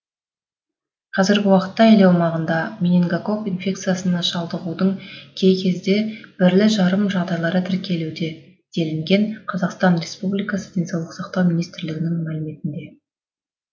қазіргі уақытта ел аумағында менингококк инфекциясына шалдығудың кей кезде бірлі жарым жағдайлары тіркелуде делінген қр денсаулық сақтау министрлігінің мәліметінде